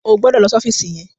O gbọdọ̀ lọ sí ọ́fíìsì yẹn.